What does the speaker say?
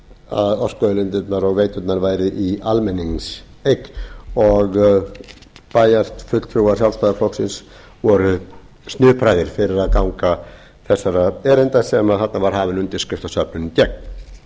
að orkuauðlindirnar og veiturnar væru í almenningseign og bæjarfulltrúar sjálfstæðisflokksins voru snupraðir fyrir að ganga þessara erinda þar sem var hafin undirskriftasöfnun gegn